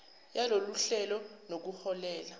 yalolu hlelo nokuholele